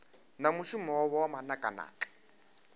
na mushumo wavho wa manakanaka